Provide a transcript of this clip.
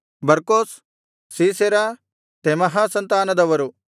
ಬರ್ಕೋಸ್ ಸೀಸೆರ ತೆಮಹ ಸಂತಾನದವರು